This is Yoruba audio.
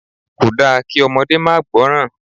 Kòda kí ọmọdé máa gbọ́ràn.